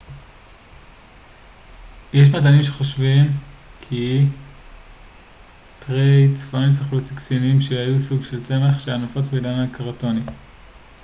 יש מדענים שחושבים כי טרייצרטופסים אכלו ציקסינים שהם סוג של צמח שהיה נפוץ בעידן הקרטוני